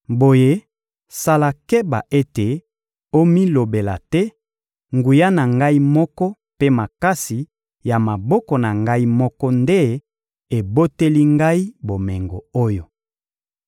Boye sala keba ete omilobela te: «Nguya na ngai moko mpe makasi ya maboko na ngai moko nde eboteli ngai bomengo oyo!»